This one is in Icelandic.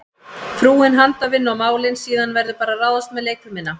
Frúin handavinnu og málin, síðan verður bara að ráðast með leikfimina.